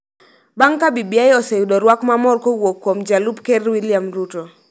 bang� ka BBI oseyudo rwak ma mor kowuok kuom Jalup Ker William Ruto,